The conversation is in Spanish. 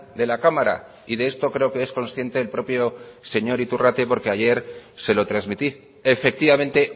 de la cámara y de esto creo que es consciente el propio señor iturrate porque ayer se lo transmití efectivamente